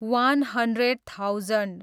one hundred thousand